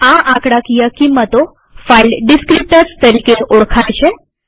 આ આંકડાકીય કિંમતો ફાઈલ ડીસ્ક્રીપ્ટર્સ તરીકે ઓળખાય છે